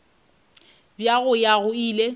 bja go ya go ile